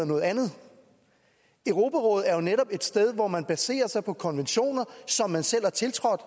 noget andet europarådet er netop et sted hvor man baserer sig på konventioner som man selv har tiltrådt